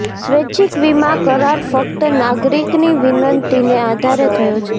સ્વૈચ્છિક વીમા કરાર ફક્ત નાગરિકની વિનંતીને આધારે થયો છે